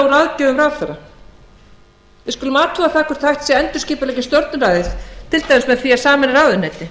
úr aðgerðum ráðherra við skulum athuga hvort það sé hægt að endurskipuleggja stjórnræðið til dæmis með því að sameina ráðuneyti